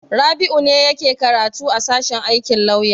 Rabi'u ne yake karatu a sashen aikin lauya.